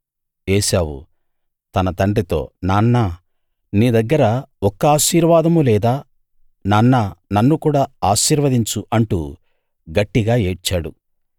ఏశావు తన తండ్రితో నాన్నా నీ దగ్గర ఒక్క ఆశీర్వాదమూ లేదా నాన్నా నన్ను కూడా ఆశీర్వదించు అంటూ గట్టిగా ఏడ్చాడు